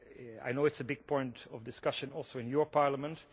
I know it is a big point of discussion also in your Parliament.